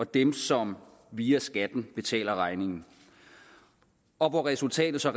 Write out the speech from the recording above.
dem som via skatten betaler regningen og hvor resultatet så